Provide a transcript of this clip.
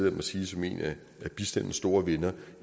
at sige som en af bistandens store venner